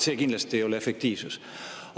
See kindlasti ei ole efektiivsus.